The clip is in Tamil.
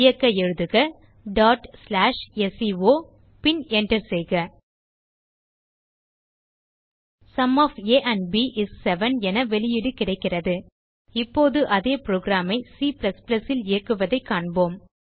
இயக்க எழுதுக sco பின் enter செய்க sum of a and b is 7 என வெளியீடு கிடைக்கிறது இப்போது அதே புரோகிராம் ஐ C ல் இயக்குவதைக் காண்போம்